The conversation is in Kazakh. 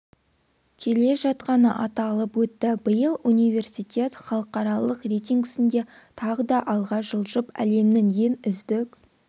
келе жатқаны аталып өтті биыл университет халықаралық рейтингісінде тағы да алға жылжып әлемнің ең үздік